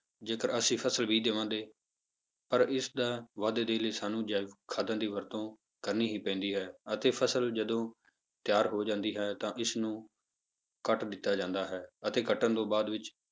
ਜੇਕਰ ਅਸੀਂ ਫਸਲ ਬੀਜ਼ ਦੇਵਾਂਗੇ, ਪਰ ਇਸਦਾ ਵਾਧੇ ਦੇ ਲਈ ਸਾਨੂੰ ਜੈਵਿਕ ਖਾਦਾਂ ਦੀ ਵਰਤੋਂ ਕਰਨੀ ਹੀ ਪੈਂਦੀ ਹੈ ਅਤੇ ਫਸਲ ਜਦੋਂ ਤਿਆਰ ਹੋ ਜਾਂਦੀ ਹੈ ਤਾਂ ਇਸਨੂੰ ਕੱਟ ਦਿੱਤਾ ਜਾਂਦਾ ਹੈ, ਅਤੇ ਕੱਟਣ ਤੋਂ ਬਾਅਦ ਵਿੱਚ